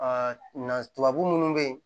nazabu minnu bɛ yen